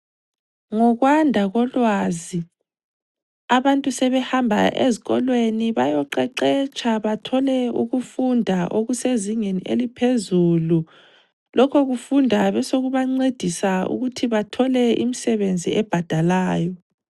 Ngokwanda kolwazi, abantu sebehamba ezikolweni bayoqeqetsha bathole ukufunda okusezingeni eliphezulu. Lokhu kufunda besekubancedisa ukuthi bathole imisebenzi ebhadalayo.